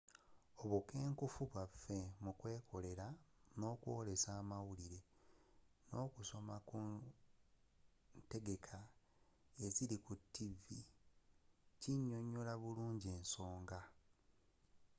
obukenkenfu bwafe mu kyekolere n'okwoolesa amawulire n'okusomera ku ntegeka eziri ku television kinnyonnyola bulungi ensonga